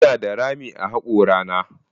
Ina da rami a hakorana.